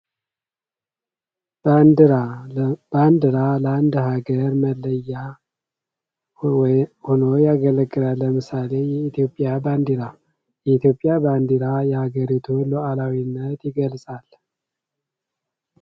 በአንዲራ ለአንድ ሀገር መለያ ሆኖ ያገለግላል ለምሳሌ የኢትዮጵያ ባንዴራ የኢትዮጵያ ባንዲራ የአገሪቱ ሉአላዊነት ይገልፃል።